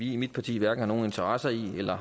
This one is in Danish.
i mit parti hverken har interesser i eller